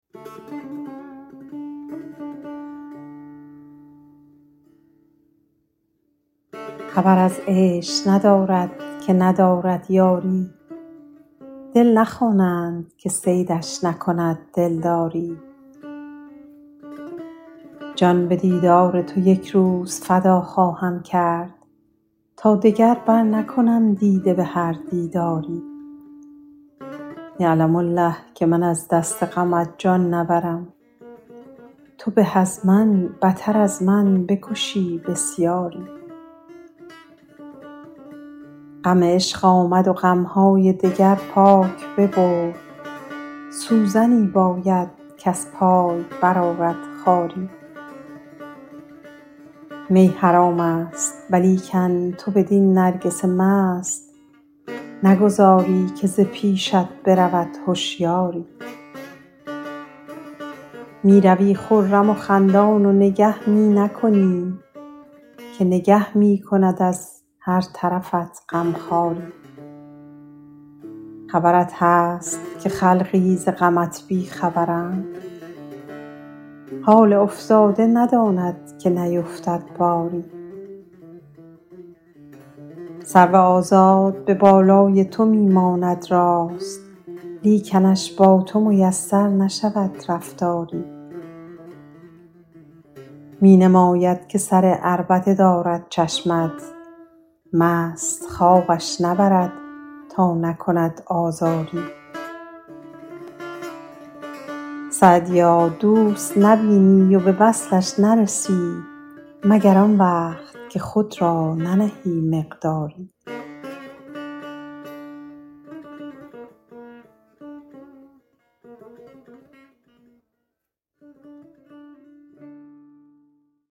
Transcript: خبر از عیش ندارد که ندارد یاری دل نخوانند که صیدش نکند دلداری جان به دیدار تو یک روز فدا خواهم کرد تا دگر برنکنم دیده به هر دیداری یعلم الله که من از دست غمت جان نبرم تو به از من بتر از من بکشی بسیاری غم عشق آمد و غم های دگر پاک ببرد سوزنی باید کز پای برآرد خاری می حرام است ولیکن تو بدین نرگس مست نگذاری که ز پیشت برود هشیاری می روی خرم و خندان و نگه می نکنی که نگه می کند از هر طرفت غم خواری خبرت هست که خلقی ز غمت بی خبرند حال افتاده نداند که نیفتد باری سرو آزاد به بالای تو می ماند راست لیکنش با تو میسر نشود رفتاری می نماید که سر عربده دارد چشمت مست خوابش نبرد تا نکند آزاری سعدیا دوست نبینی و به وصلش نرسی مگر آن وقت که خود را ننهی مقداری